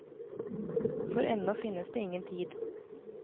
For ennå finnes det ingen tid.